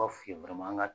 B'a f'i ye dɔrɔn an ka